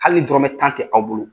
Hali ni dɔrɔmɛ tan tɛ aw bolo.